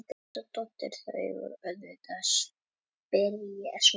Hanna Hjartardóttir: Þau auðvitað spyrja svona, er hún alveg að springa?